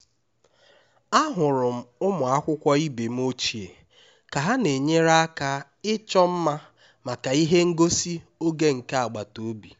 ahụrụ m ụmụ akwụkwọ ibe m ochie ka ha na-enyere aka ịchọ mma maka ihe ngosi oge nke agbataobi